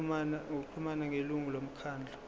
ngokuxhumana nelungu lomkhandlu